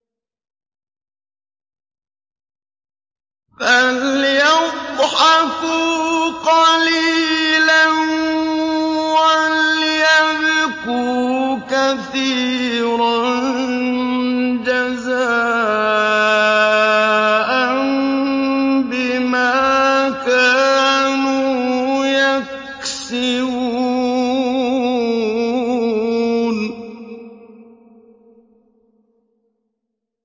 فَلْيَضْحَكُوا قَلِيلًا وَلْيَبْكُوا كَثِيرًا جَزَاءً بِمَا كَانُوا يَكْسِبُونَ